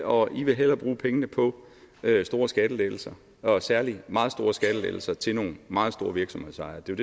og i vil hellere bruge pengene på store skattelettelser og særlig meget store skattelettelser til nogle meget store virksomhedsejere det er